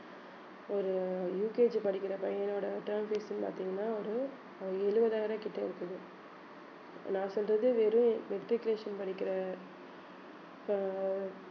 ஒரு UKG படிக்கிற பையனோட term fees ன்னு பாத்தீங்கன்னா ஒரு அஹ் எழுபதாயிரம் கிட்ட இருக்குது நான் சொல்றது வெறும் matriculation படிக்கிற ப~